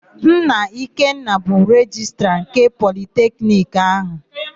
Nna Ikenna bụ Rejistra ndị Politekiniki áhụ̀.